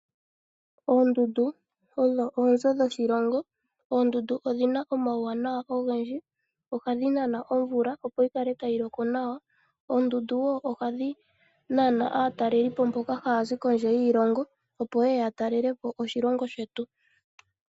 Oondundu odho oonzo dhoshilongo. Oondundu odhina omauwanawa ogendji ohadhi nana omvula opo yi kale tayi loko nawa. Oondundu wo ohadhi nana aataleli po mboka haya zi kondje yiilongo opo yeye ya talele po oshilongo shetu.